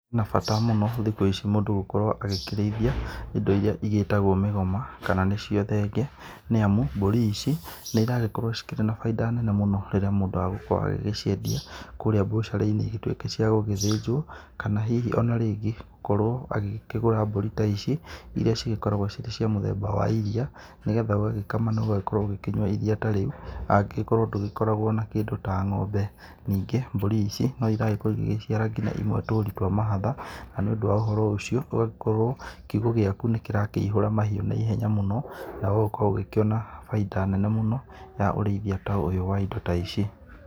Harĩ nĩ bata mũno thikũ ici mũndũ gũkorwo agĩkĩrĩithĩa indo irĩa igĩtagwo mĩgoma kana nĩcio thenge, nĩ amũ mbũri ici nĩ iragĩkorwo ci kĩrĩ na baĩnda nene mũno rĩrĩa mũndu agũkorwo agĩgĩciendĩa kurĩa bucarĩ-inĩ igĩtũĩke cia gũgĩthĩnjwo, kana hihi ona rĩngĩ akorwo agĩkĩgũra mbũri ta ici iria cigĩkoragwo irĩ cia mũthemba wa iria, nĩgetha ũgagĩkama na ũgagĩkorwo ũgĩkĩnyua iria ta rĩu angĩgĩkorwo ndũgĩkoragwo ũrĩ na kĩndũ ta ngombe. Ningĩ mbũri ta ici no iragĩkorwo igĩgĩciara nginya imwe tũri twa mahatha, na nĩũndũ wa ũhoro ũcio ũgagĩkorwo kiũgo gĩaku nĩ kĩrakĩihũra mahiũ na ihenya mũno na ũgagĩkorwo ũgĩkĩona bainda nene mũno ya ũreithĩa ta ũyũ wa indo ta ici.